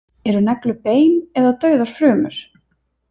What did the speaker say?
Eru neglur bein eða dauðar frumur?